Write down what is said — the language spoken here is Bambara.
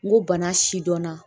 N ko bana sidɔnna